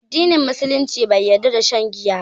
Addinin Musulunci bai yarda da shan giya ba